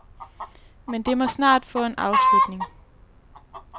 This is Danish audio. Men det må snart få en afslutning.